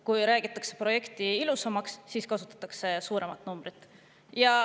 Kui räägitakse projekti ilusamaks, siis kasutatakse suuremat numbrit.